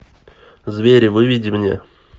звери выведи мне